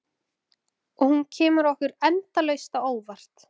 Og hún kemur okkur endalaust á óvart.